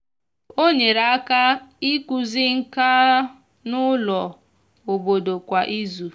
ọ nyere aka ikuzi nka n'ulo obodo kwa ịzụ